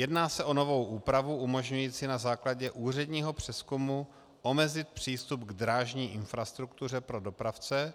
Jedná se o novou úpravu umožňující na základě úředního přezkumu omezit přístup k drážní infrastruktuře pro dopravce,